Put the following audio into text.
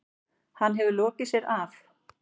Hann hefur lokið sér af.